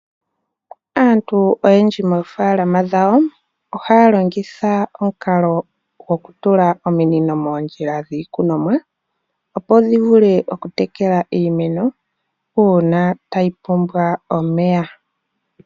Aantu oyendji moofaalama dhawo ohaya longitha omukalo goku tula ominino moondjila dhiikunomwa opo dhivule okutekela iimeno uuna tayi pumbwa omeya.